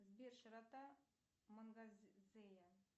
сбер широта мангазея